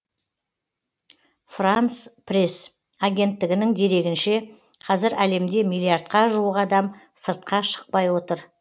франс пресс агенттігінің дерегінше қазір әлемде миллиардқа жуық адам сыртқа шықпай отыр